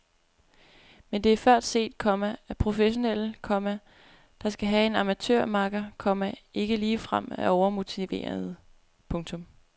Men det er før set, komma at professionelle, komma der skal have en amatørmakker, komma ikke ligefrem er overmotiverede. punktum